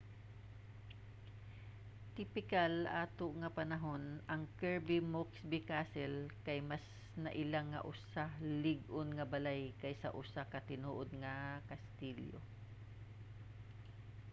tipikal ato nga panahon ang kirby muxloe castle kay mas naila nga usa lig-on nga balay kaysa usa ka tinuod nga kastilyo